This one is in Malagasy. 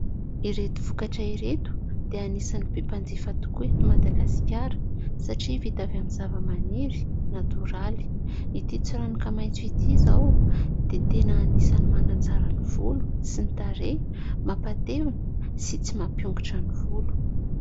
Ireto vokatra ireto dia anisany be mpanjifa tokoa eto Madagasikara satria vita avy aminy zavamaniry natoraly. Ity tsiranoka maitso ity zao dia tena anisany manatsara ny volo sy ny tarehy, mampatevina sy tsy mampiongotra ny volo.